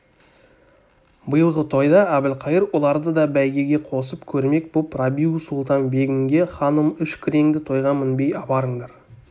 биылғы тойда әбілқайыр оларды да бәйгеге қосып көрмек боп рабиу-сұлтан-бегімге ханым үш күреңді тойға мінбей апарыңдар